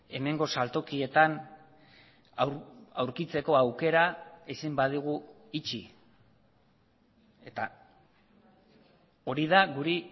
hemengo saltokietan aurkitzeko aukera ezin badugu itxi eta hori da guri